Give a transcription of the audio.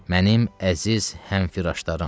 Mənim əziz həmfiraşlarım.